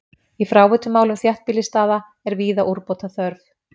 Í fráveitumálum þéttbýlisstaða er víða úrbóta þörf.